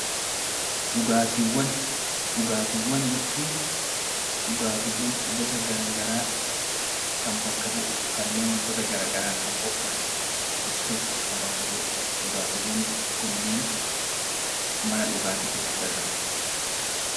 Dhugaatiiwwan jechuun dhugaatiiwwan gosa gara garaa kan bakka bu'u, kanneen wantoota gara garaarraa qophaa'an ibsuuf kan bakka bu'udha. Dhugaatiiwwan kunneen mana dhugaatii keessatti argamu.